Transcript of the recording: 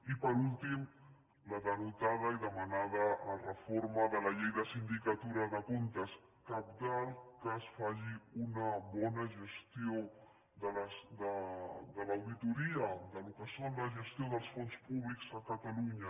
i per últim la denotada i demanada reforma de la llei de la sindicatura de comptes cabdal que es faci una bona gestió de l’auditoria del que són la gestió dels fons públics a catalunya